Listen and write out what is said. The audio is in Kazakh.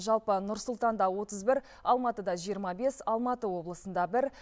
жалпы нұр сұлтанда отыз бір алматыда жиырма бес алматы облысында бір